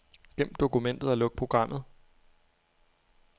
Gem dokumentet og luk programmet.